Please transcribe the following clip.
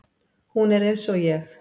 Hún er eins og ég.